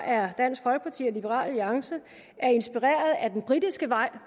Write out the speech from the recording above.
er dansk folkeparti og liberal alliance inspireret af den britiske vej